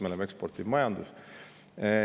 Me oleme eksportiv majandus.